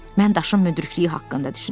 Mən daşın müdrikliyi haqqında düşünürdüm.